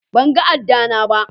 ban gan ada na ba.